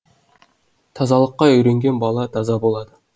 тазалыққа үйренген бала таза болады